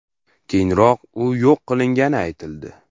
Keyinroq u yo‘q qilingani aytildi.